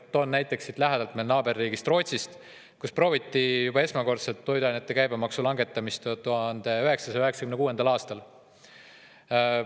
Toon näite siit lähedalt, meie naaberriigist Rootsist, kus prooviti esmakordselt toiduainete käibemaksu langetamist 1996. aastal.